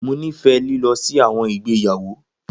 Mo nifẹ lilọ si awọn igbeyawo.